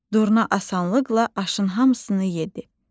Durna asanlıqla aşın hamısını yedi.